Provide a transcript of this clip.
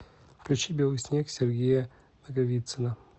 включи белый снег сергея наговицына